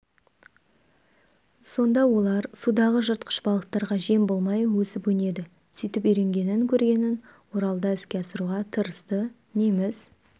сонда олар судағы жыртқыш балықтарға жем болмай өсіп-өнеді сөйтіп үйренгенін көргенін оралда іске асыруға тырысты неміс